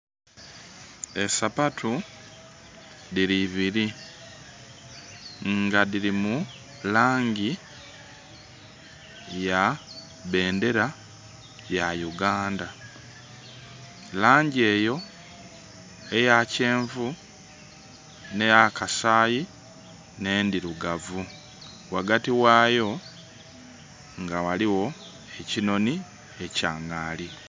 E sapatu dhili ibili nga dhili mu laangi ya bendera ya Uganda. Laangi eyo eya kyenvu, nhe ey'akasaayi nh'endhirugavu. Ghagati ghaayo nga ghaligho ekinhonhi ekya ngaali.